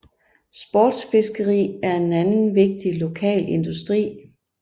Sportsfiskeri er en anden vigtig lokal industri